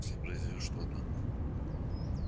если произойдёт что-то